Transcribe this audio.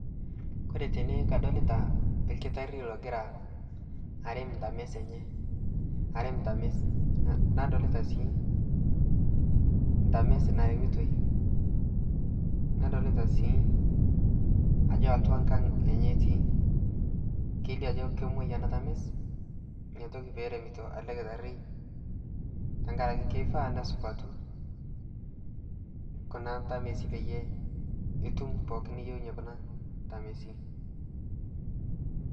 kore tene kadolita ilkitari logira arem ntamis enye, arem ntamis nadolita sii ntamis naremitoi, nadolita sii ajo atua nkang enye etii kelio ajo kemoi ena tamis inatoki pee eremito ele kitari tengaraki keifaa nesupatu kuna tamisi peyie itum pookin niyieunye kuna tamisin.